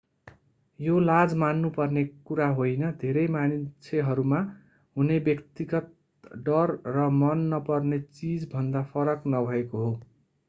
यो लाज मान्नु पर्ने कुरा होइन धेरै मान्छेहरूमा हुने व्यक्तिगत डर र मन नपर्ने चीजभन्दा फरक नभएको हो